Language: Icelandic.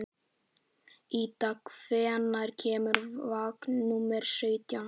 Ída, hvenær kemur vagn númer sautján?